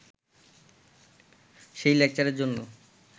সেই লেকচারের জন্য